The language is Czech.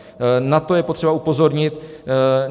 Na to je potřeba upozornit.